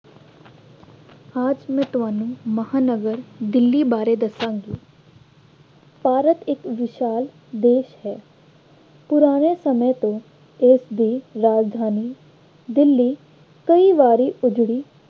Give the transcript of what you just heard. ਅੱਜ ਮੈਂ ਤੁਹਾਨੂੰ ਮਹਾਂਨਗਰ ਦਿੱਲੀ ਬਾਰੇ ਦੱਸਾਂਗੀ। ਭਾਰਤ ਇੱਕ ਵਿਸ਼ਾਲ ਦੇਸ਼ ਹੈ। ਪੁਰਾਣੇ ਸਮੇਂ ਤੋਂ ਦੇਸ਼ ਦੀ ਰਾਜਧਾਨੀ ਦਿੱਲੀ ਕਈ ਵਾਰੀ ਉੱਜੜੀ